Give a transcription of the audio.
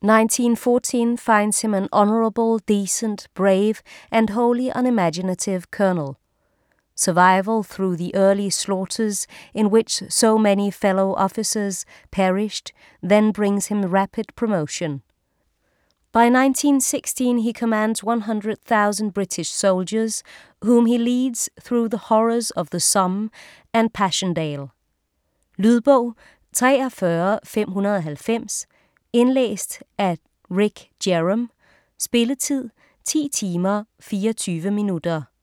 1914 finds him an honourable, decent, brave and wholly unimaginative colonel. Survival through the early slaughters in which so many fellow-officers perished then brings him rapid promotion. By 1916, he commands 100,000 British soldiers, whom he leads through the horrors of the Somme and Passchendaele. Lydbog 43590 Indlæst af Ric Jerrom Spilletid: 10 timer, 24 minutter.